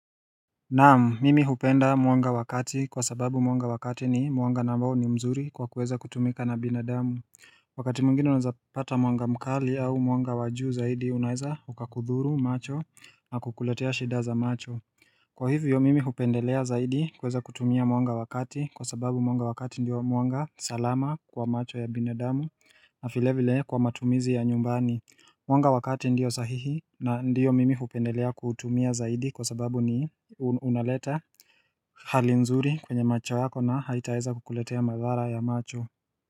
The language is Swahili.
Naam mimi hupenda mwanga wakati kwa sababu mwanga wakati ni mwanga ni ambao ni mzuri kwa kuweza kutumika na binadamu Wakati mwngine unaweza kupata mwanga mkali au mwanga wajuu zaidi unaweza hukakudhuru macho na kukuletea shidaza macho Kwa hivyo mimi hupendelea zaidi kuweza kutumia mwanga wakati kwa sababu mwanga wakati ndio mwanga salama kwa macho ya binadamu na vile vile kwa matumizi ya nyumbani Mwanga wakati ndio sahihi na ndio mimi hupendelea kuutumia zaidi kwa sababu ni unaleta halinzuri kwenye macho yako na haitaweza kukuletea madhara ya macho.